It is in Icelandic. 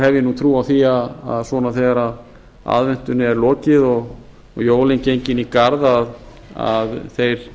ég nú trú á því að svona þegar aðventunni er lokið og jólin gengin í garð að þeir